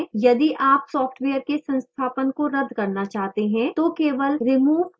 यदि आप सॉफ्टवेयर के संस्थापन को रद्द करना चाहचे हैं तो केवल remove button पर click करें